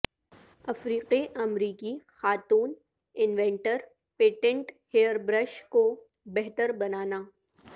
افریقی امریکی خاتون انوینٹر پیٹنٹ ہیئر برش کو بہتر بنانا